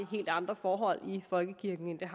helt andre forhold i folkekirken der